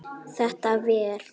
Þetta ver?